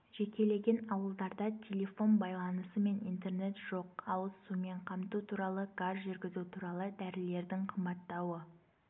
жекелеген ауылдарда телефон байланысы мен интернет жоқ ауыз сумен қамту туралы газ жүргізу туралы дәрілердің қымбаттауы